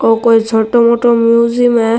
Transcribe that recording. ओ कोई छोटो मोटो म्यूजियम है।